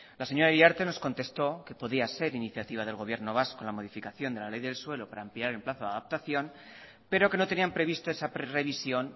la señora iriarte nos contestó que podía ser iniciativa del gobierno vasco la modificación de la ley del suelo para ampliar el plazo de adaptación pero que no tenían previsto esa previsión